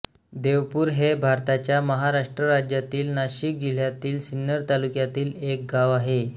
देवपूर हे भारताच्या महाराष्ट्र राज्यातील नाशिक जिल्ह्यातील सिन्नर तालुक्यातील एक गाव आहे